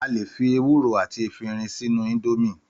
Àlè fì èwúrò àtí èfiírìn sìnù Ìndọ̀mí